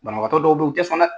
Banabakatɔ dɔw be yen u tɛ sɔn dɛ!